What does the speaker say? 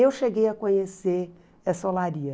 Eu cheguei a conhecer essa olaria.